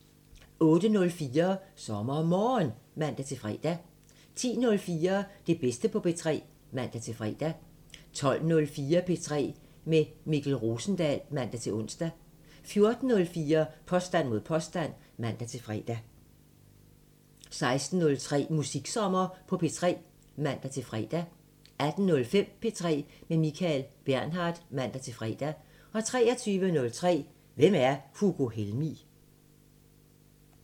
08:04: SommerMorgen (man-fre) 10:04: Det bedste på P3 (man-fre) 12:04: P3 med Mikkel Rosendal (man-ons) 14:04: Påstand mod påstand (man-fre) 16:03: Musiksommer på P3 (man-fre) 18:05: P3 med Michael Bernhard (man-fre) 23:03: Hvem er Hugo Helmig?